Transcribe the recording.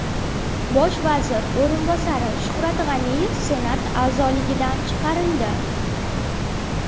Bosh vazir o‘rinbosari Shuhrat G‘aniyev Senat a’zoligidan chiqarildi.